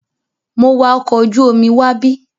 Mo wa ọkọ̀ ojú omi wábí.